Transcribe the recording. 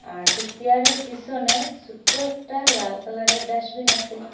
আর ঠিক চেয়ারের পিসনে সুট্ট একটা লাল কালারের ডাসবিন আসে।